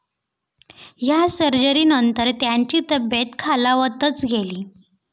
या सर्जरीनंतर त्यांची तब्येत खालावतच गेली.